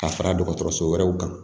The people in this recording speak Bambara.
Ka fara dɔgɔtɔrɔso wɛrɛw kan